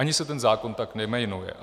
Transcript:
Ani se ten zákon tak nejmenuje.